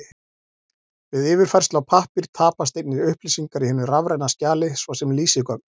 Við yfirfærslu á pappír tapast einnig upplýsingar í hinu rafræna skjali, svo sem lýsigögn.